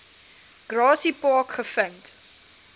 grassy park gevind